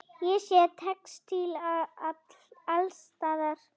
Ég sé textíl alls staðar.